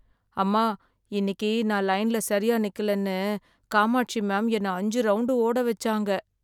அம்மா! இன்னக்கி நான் லைன்ல சரியா நிக்கலன்னு, காமாட்சி மேம் என்ன அஞ்சு ரவுண்டு ஓட வச்சாங்க.